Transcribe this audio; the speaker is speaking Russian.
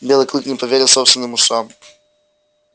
белый клык не поверил собственным ушам